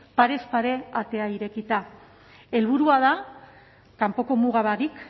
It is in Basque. parez pare atea irekita helburua da kanpoko muga barik